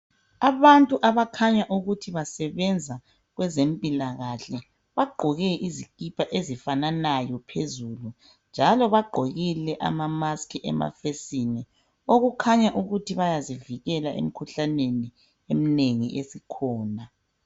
Abantu abakhanya ukuthi basebenza kwezempilakahle bagqoke izikipa ezifananayo phezulu njalo bagqokile amamasikhi emafesini okukhanya ukuthi bayazivikela emikhuhlaneni eminengi esikhona.